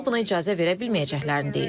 O, buna icazə verə bilməyəcəklərini deyib.